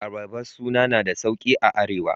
Abaraba suna na da sauƙi a Arewa.